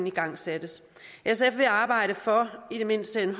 igangsat sf vil arbejde for i det mindste en